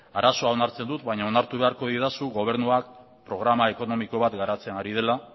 arazoa onartzen dut baina onartu beharko didazu gobernua programa ekonomiko bat garatzen ari dela